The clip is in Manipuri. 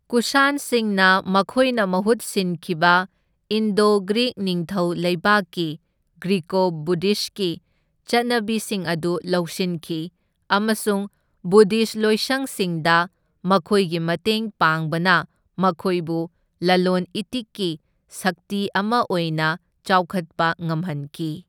ꯀꯨꯁꯥꯟꯁꯤꯡꯅ ꯃꯈꯣꯏꯅ ꯃꯍꯨꯠ ꯁꯤꯟꯈꯤꯕ ꯏꯟꯗꯣ ꯒ꯭ꯔꯤꯛ ꯅꯤꯡꯊꯧ ꯂꯩꯕꯥꯛꯀꯤ ꯒ꯭ꯔꯤꯀꯣ ꯕꯨꯙꯤꯁꯠꯀꯤ ꯆꯠꯅꯕꯤꯁꯤꯡ ꯑꯗꯨ ꯂꯧꯁꯤꯟꯈꯤ, ꯑꯃꯁꯨꯡ ꯕꯨꯙꯤꯁꯠ ꯂꯣꯏꯁꯪꯁꯤꯡꯗ ꯃꯈꯣꯏꯒꯤ ꯃꯇꯦꯡ ꯄꯥꯡꯕꯅ ꯃꯈꯣꯏꯕꯨ ꯂꯂꯣꯟ ꯏꯇꯤꯛꯀꯤ ꯁꯛꯇꯤ ꯑꯃ ꯑꯣꯏꯅ ꯆꯥꯎꯈꯠꯄ ꯉꯝꯍꯟꯈꯤ꯫